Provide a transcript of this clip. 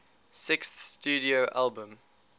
sixth studio album